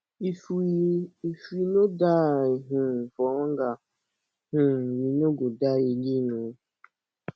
if we if we no die um for hunger um we no go die again um